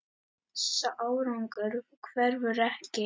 Sá árangur hverfur ekki.